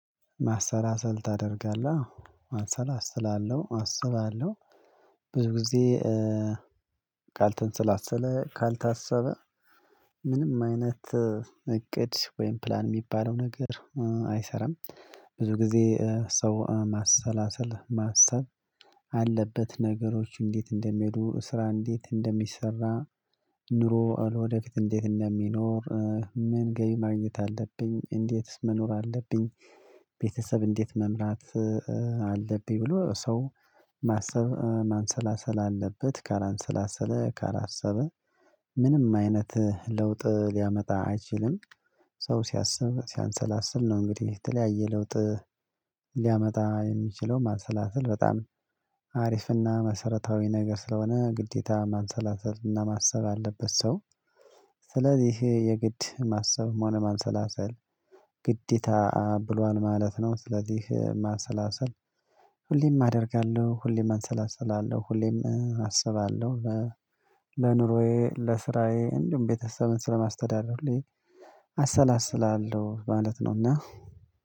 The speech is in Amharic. ማሰላሰል ታደርጋለህ? አሰላስላለሁ አስባለሁ ብዙ ጊዜ ካልተንሰላሰለ ካልታሰበ ምንም አይነት እቅድ ወይም ፕላን የሚባለው ነገር አይሰራም ብዙ ጊዜ ሰው ማሰላሰል ማሰብ አለበት ነገሮች እንዴት እንደሚሄዱ ስራ እንዴት እንደሚሰራ ኑሮ ለወደፊት እንዴት እንደሚኖር ምን ገቢ ማግኘት አለብኝ እንዴትስ መኖር አለብኝ ቤተሰብ እንዴት መምራት አለብኝ ብሎ ሰው ማሰብ ማንሰላሰል አለበት ካላንሰላሰለ ካላሰበ ምንም አይነት ለውጥ ሊያመጣ አይችልም ሰው ሲያስብ ሲያንሰላስል ነው እንግዲህ የተለያየ ለውጥ ሊያመጣ የሚችለው ማሰላሰል በጣም አሪፍና መሰረታዊ ነገር ስለሆነ ግዴታ ማንሰላሰል እና ማሰብ አለበት ሰው ስለዚህ ይሄ የግድ ማሰብም ሆነ ማንሰላሰል ግዴታ ብሏል ማለት ነው ስለዚህ ማሰላሰል ሁሌም አደርጋለሁ ሁሌም አንሰላሰላለሁ ሁሌም አስባለሁ ለኑሮዬ ለስራዬ እንዲሁም ቤተሰብን ስለማስተዳደር ሁሌ አሰላስላለሁ ማለት ነውና